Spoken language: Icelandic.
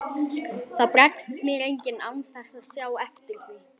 Það bregst mér enginn án þess að sjá eftir því.